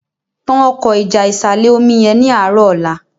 tán Ọkọ́ ìjà ìsàlẹ̀-omi yén ní arọ ọlá